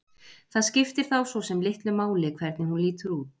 Það skiptir þá svo sem litlu máli hvernig hún lítur út.